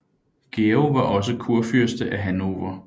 Georg var også kurfyrste af Hannover